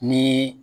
Ni